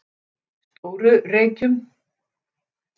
Stóru Reykjum